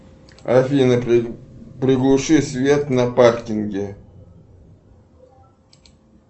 афина приглуши свет на паркинге